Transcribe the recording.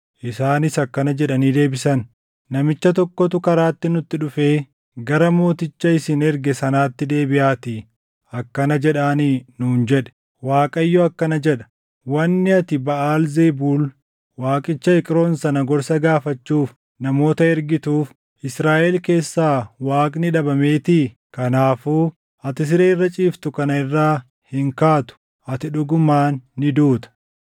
Isaanis akkana jedhanii deebisan; “Namicha tokkotu karaatti nutti dhufee, ‘Gara mooticha isin erge sanaatti deebiʼaatii akkana jedhaanii’ nuun jedhe; ‘ Waaqayyo akkana jedha: Wanni ati Baʼaal Zebuul waaqicha Eqroon sana gorsa gaafachuuf namoota ergituuf Israaʼel keessaa Waaqni dhabameetii? Kanaafuu ati siree irra ciiftu kana irraa hin kaatu. Ati dhugumaan ni duuta!’ ”